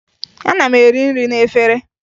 Ana m eri nri n'efere